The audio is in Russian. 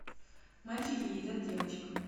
мальчики едят девочек